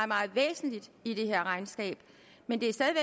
meget væsentligt i det her regnskab men det er stadig